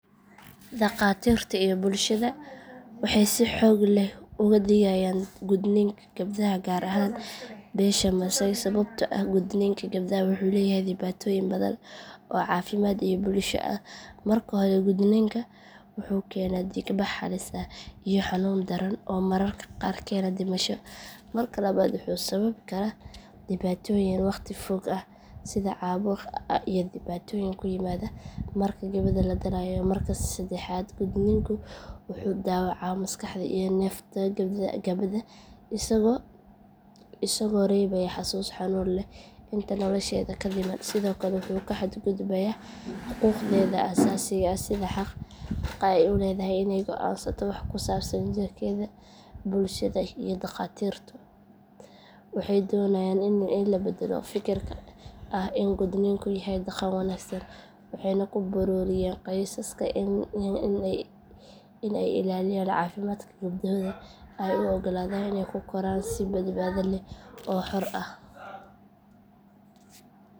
Dhakhaatiirta iyo bulshada waxay si xoog leh uga digayaan gudniinka gabdhaha gaar ahaan beesha masaai sababtoo ah gudniinka gabdhaha wuxuu leeyahay dhibaatooyin badan oo caafimaad iyo bulsho ah marka hore gudniinku wuxuu keenaa dhiig bax halis ah iyo xanuun daran oo mararka qaar keena dhimasho marka labaad wuxuu sababi karaa dhibaatooyin waqti fog ah sida caabuq iyo dhibaatooyin ku yimaada marka gabadha la dhalayo marka saddexaad gudniinku wuxuu dhaawacaa maskaxda iyo nafta gabadha isagoo reebaya xasuus xanuun leh inta nolosheeda ka dhiman sidoo kale wuxuu ku xadgudbaa xuquuqdeeda asaasiga ah sida xaqa ay u leedahay in ay go’aansato waxa ku saabsan jirkeeda bulshada iyo dhakhaatiirtu waxay doonayaan in la beddelo fikirka ah in gudniinku yahay dhaqan wanaagsan waxayna ku boorinayaan qoysaska in ay ilaaliyaan caafimaadka gabdhahooda ayna u oggolaadaan in ay ku koraan si badbaado leh oo xor ah.